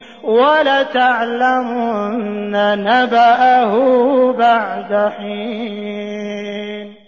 وَلَتَعْلَمُنَّ نَبَأَهُ بَعْدَ حِينٍ